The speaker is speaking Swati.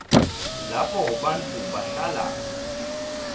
lapho bantfu bahlala